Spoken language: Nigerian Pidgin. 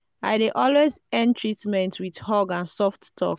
i dey always end treatment with hug and soft talk.